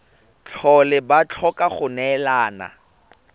tlhole ba tlhoka go neelana